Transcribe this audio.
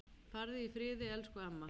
Farðu í friði elsku amma.